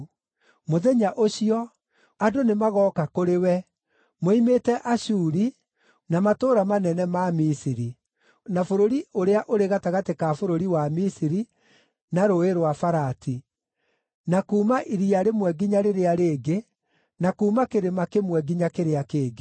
Mũthenya ũcio, andũ nĩmagooka kũrĩ we moimĩte Ashuri na matũũra manene ma Misiri, na bũrũri ũrĩa ũrĩ gatagatĩ ka bũrũri wa Misiri na Rũũĩ rwa Farati, na kuuma iria rĩmwe nginya rĩrĩa rĩngĩ, na kuuma kĩrĩma kĩmwe nginya kĩrĩa kĩngĩ.